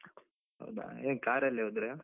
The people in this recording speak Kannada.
ಹೌದಾ, ಹೇಗೆ car ಅಲ್ಲಿ ಹೋದ್ರ?